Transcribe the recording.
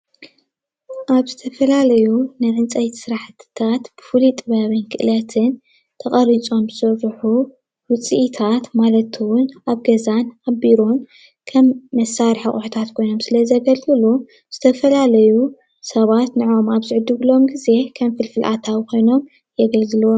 ኣብ ዝተፈላለዩ ናይ ዕንፀይቲ ስራሕትታት ብፍሉይ ጥበብ ክእለትን ተቐሪፆም ዝስርሑ ውፅኢታት ማለት እውን ኣብ ገዛን ኣብ ቢሮን ከም መሳርሒ ኣቑታት ኮይኖም ስለዘገልግሉ ዝተፈላለዩ ሰባት ንዖኦም ኣብ ዝዕድግሎም ጊዜ ከም ፍልፍል ኣታዊ ኮይኖም የገልግልዎም፡፡